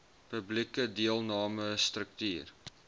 publieke deelname struktuur